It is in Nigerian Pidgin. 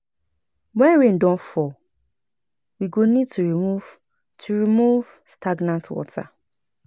When rain don fall, we go need to remove to remove stagnant water